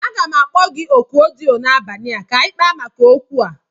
Aga m akpo gi na oku odiyo n'abali a ka anyi kpaa maka okwu a